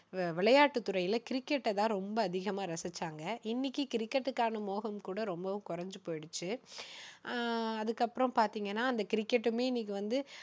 வி~விளையாட்டுத்துறையில கிரிக்கெட்டை தான் ரொம்ப அதிகமா ரசிச்சாங்க. இன்னைக்கு கிரிக்கெட்டுக்கான மோகம் கூட ரொம்பவும் குறைஞ்சு போயிடுச்சு. ஆஹ் அதுக்கப்புறம் பாத்தீங்கன்னா அந்த கிரிக்கெட்டுமே இன்னைக்கு வந்து,